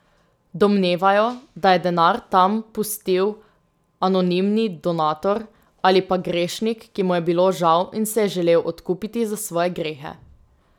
Domnevajo, da je denar tam pustil anonimni donator ali pa grešnik, ki mu je bilo žal in se je želel odkupiti za svoje grehe.